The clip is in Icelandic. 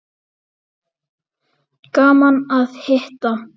Gaman að hitta